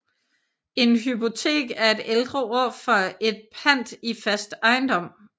En hypotek er et ældre ord for et pant i fast ejendom